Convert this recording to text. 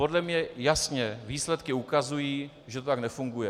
Podle mě jasně výsledky ukazují, že to tak nefunguje.